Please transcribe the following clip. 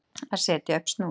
Að setja upp snúð